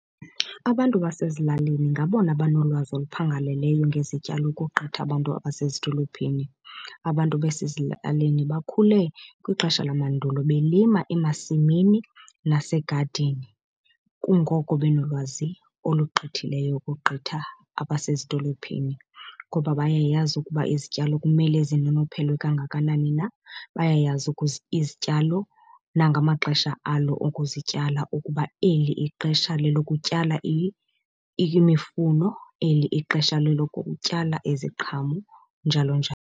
Abantu basezilalini ngabona banolwazi oluphangaleleyo ngezityalo ukogqitha abantu abasezidolophini. Abantu basezilalini bakhule kwixesha lamandulo belima emasimini nasegadini kungoko benolwazi olugqithileyo ukogqitha abasezidolophini. Ngoba bayayazi ukuba izityalo kumele zinonophelwe kangakanani na, bayayazi izityalo nangamaxesha alo okuzityala ukuba eli ixesha lelokutyala imifuno, eli ixesha lelokutyala iziqhamo, njalo njalo.